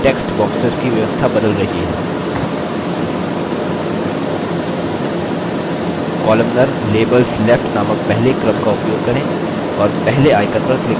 columnar – labels left नामक पहले क्रम arrangement का उपयोग करें और पहले icon पर click करें